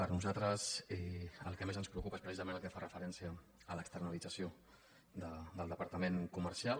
a nosaltres el que més ens preocupa és precisament el que fa referència a l’externalització del departament comercial